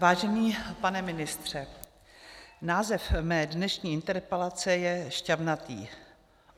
Vážený pane ministře, název mé dnešní interpelace je šťavnatý.